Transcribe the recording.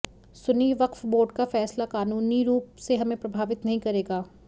Sunni Waqf board का फैसला कानूनी रूप से हमें प्रभावित नहीं करेगा